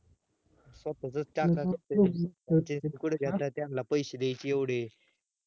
स्वतःचाच टाकायचं, franchises कुठे घेता? त्यांनला पैशे द्यायचे येवडे